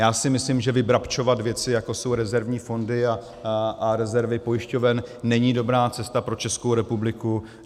Já si myslím, že vybrabčovat věci, jako jsou rezervní fondy a rezervy pojišťoven, není dobrá cesta pro Českou republiku.